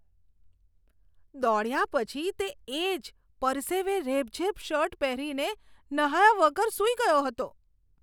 દોડ્યા પછી તે એ જ પરસેવે રેબઝેબ શર્ટ પહેરીને નહાયા વગર સૂઈ ગયો હતો.